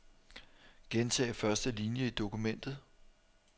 Gentag første linie i dokumentet.